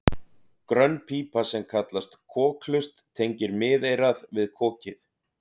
grönn pípa sem kallast kokhlust tengir miðeyrað við kokið